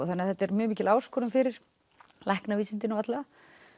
þannig að þetta er mjög mikil áskorun fyrir læknavísindin og alla